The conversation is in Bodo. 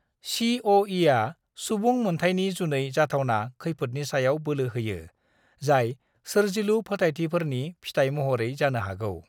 सीअ'ईआ सुबुं मोनथाइनि जुनै जाथावना खैफोदनि सायाव बोलो होयो, जाय सोरजिलु फोथाइथिफोरनि फिथाइ महरै जानो हागौ।